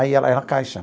Aí ela era caixa.